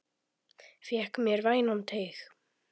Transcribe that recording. Fékk mér vænan teyg.